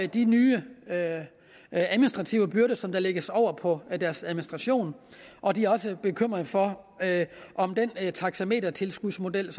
de nye administrative byrder som der lægges over på deres administration og de er også bekymrede for om den taxametertilskudsmodel